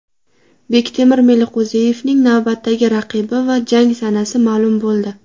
Bektemir Meliqo‘ziyevning navbatdagi raqibi va jang sanasi ma’lum bo‘ldi.